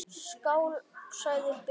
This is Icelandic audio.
Skál, sagði Bill.